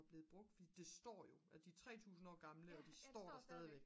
er blevet brugt fordi det står jo de er jo 3000 år gamle og de står stadigvæk